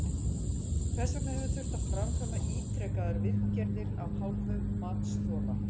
Hvers vegna hefur þurft að framkvæma ítrekaðar viðgerðir af hálfu matsþola?